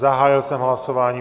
Zahájil jsem hlasování.